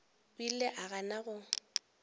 o ile a gana go